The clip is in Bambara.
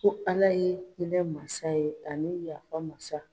Ko ala ye hinɛ mansa ye, ani yafa masa.